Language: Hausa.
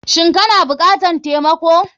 Shin kana bukatar taimako.